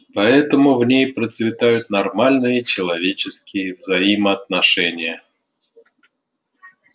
поэтому в ней процветают нормальные человеческие взаимоотношения